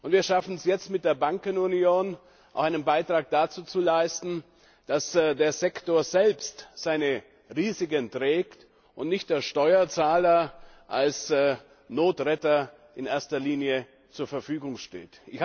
Wir schaffen es jetzt mit der Bankenunion, auch einen Beitrag dazu zu leisten, dass der Sektor selbst seine Risiken trägt und nicht der Steuerzahler als Notretter in erster Linie zur Verfügung steht.